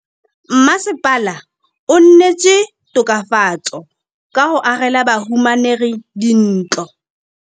Mmasepala o neetse tokafatsô ka go agela bahumanegi dintlo.